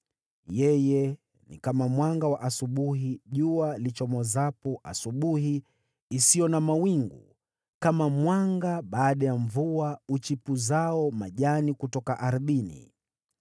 yeye ni kama mwanga wa asubuhi jua lichomozapo asubuhi isiyo na mawingu, kama mwanga baada ya mvua uchipuzao majani kutoka ardhini.’